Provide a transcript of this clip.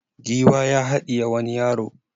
Giwa ya haɗiye wani yaro.